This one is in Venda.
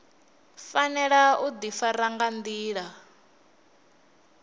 fanela u ḓifara nga nḓila